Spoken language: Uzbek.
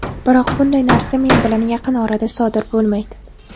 Biroq bunday narsa men bilan yaqin orada sodir bo‘lmaydi.